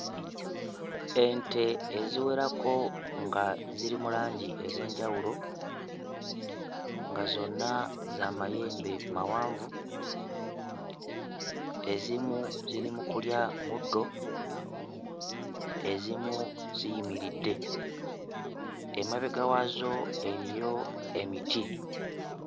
Ente eziwerako nga ziri mu langi ez'enjawulo nga zonna za mayembe mawanvu, ezimu ziri mu kulya muddo, ezimu ziyimiridde emabega waazo eriyo emiti.